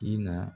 I na